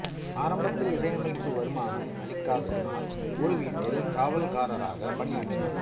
ஆரம்பத்தில் இசையமைப்பு வருமானம் அளிக்காததனால் ஒரு வீட்டில் காவல்காரராக பணியாற்றினார்